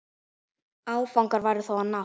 Áfangar væru þó að nást.